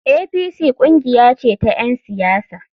APC kungiya ce ta ‘yan siyasa.